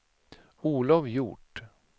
Olov Hjort